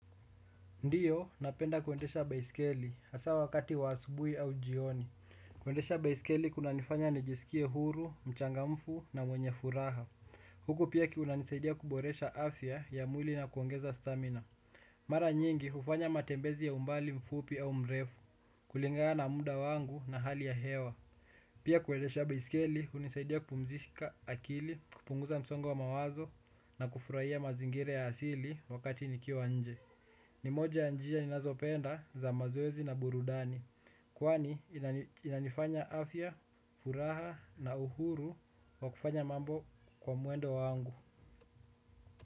Ndiyo, napenda kuendesha baisikeli, hasa wakati wa asubuhi au jioni. Kuendesha baisikeli kunanifanya nijisikie huru, mchangamfu na mwenye furaha. Huku pia kiunanisaidia kuboresha afya ya mwili na kuongeza stamina. Mara nyingi, ufanya matembezi ya umbali mfupi au mrefu, kulingana na muda wangu na hali ya hewa. Pia kuendesha baisikeli, hunisaidia kupumzika akili, kupunguza msongo wa mawazo na kufurahia mazingire ya asili wakati nikiwa nje. Ni moja wa njia ninazopenda za mazoezi na burudani kwani inanifanya afya, furaha na uhuru wa kufanya mambo kwa mwendo wangu.